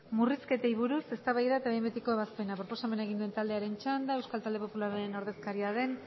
murrizketei buruz eztabaida eta behin betiko ebazpena proposamena egin duenaren txanda euskal talde popularraren ordezkaria den